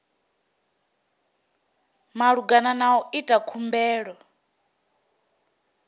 malugana na u ita khumbelo